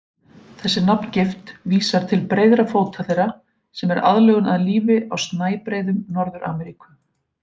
Þessi nafngift vísar til breiðra fóta þeirra, sem er aðlögun að lífi á snæbreiðum Norður-Ameríku.